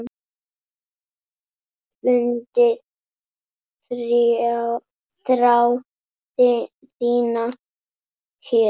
Fundið þrá þína hér.